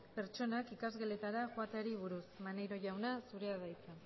pertsonak ikasgeletara joateari buruz maneiro jauna zurea da hitza